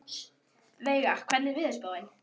Veiga, hvernig er veðurspáin?